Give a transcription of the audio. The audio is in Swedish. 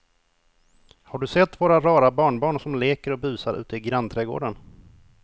Har du sett våra rara barnbarn som leker och busar ute i grannträdgården!